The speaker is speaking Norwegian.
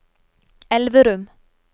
Elverum